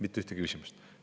Mitte ühtegi küsimust.